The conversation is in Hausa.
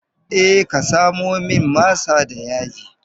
Eh ka samo min masa da yaji.